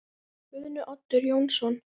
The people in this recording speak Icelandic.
Guðni Oddur Jónsson